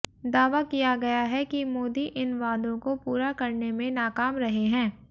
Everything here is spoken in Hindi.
दावा किया गया है कि मोदी इन वादों को पूरा करने में नाकाम रहे हैं